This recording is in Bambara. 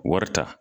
Wari ta